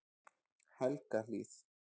Helgahlíð